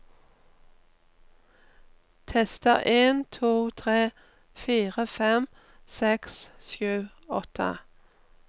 Tester en to tre fire fem seks sju åtte